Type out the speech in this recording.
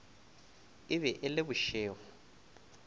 e be e le bošego